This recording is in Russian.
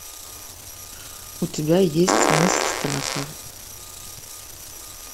у тебя есть мыс страха